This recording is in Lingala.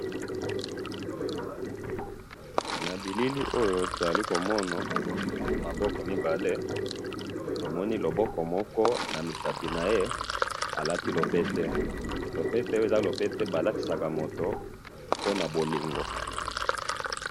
Na bilili oyo tozali komona maboko mibale tomoni lokboko moko alati lopete lopete oyo eza oyo balatisaka mutu pona bolingo.